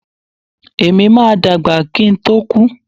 Èmi máa dàgbà kí ń tó kú.